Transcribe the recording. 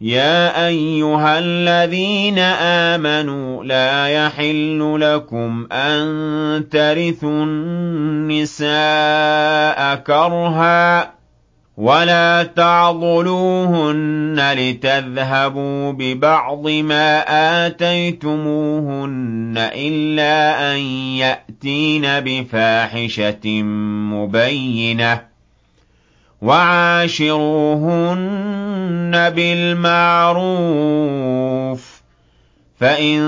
يَا أَيُّهَا الَّذِينَ آمَنُوا لَا يَحِلُّ لَكُمْ أَن تَرِثُوا النِّسَاءَ كَرْهًا ۖ وَلَا تَعْضُلُوهُنَّ لِتَذْهَبُوا بِبَعْضِ مَا آتَيْتُمُوهُنَّ إِلَّا أَن يَأْتِينَ بِفَاحِشَةٍ مُّبَيِّنَةٍ ۚ وَعَاشِرُوهُنَّ بِالْمَعْرُوفِ ۚ فَإِن